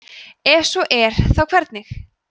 ef svo er þá hvernig